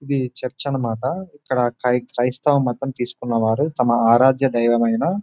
ఇది చర్చి అన్న మాట ఇక్కడ క్రై క్రయిస్తవమతం తీసుకున్న వారు తమ ఆరాధ్య దైవమైన --